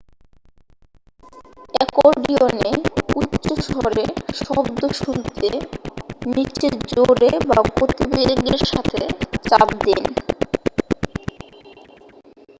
অ্যাকর্ডিয়নে উচ্চস্বরে শব্দ শুনতে নীচে জোরে বা গতিবেগের সাথে চাপ দিন